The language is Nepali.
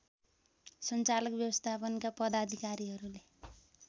सञ्चालक व्यवस्थापनका पदाधिकारीहरूले